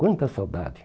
Quanta saudade!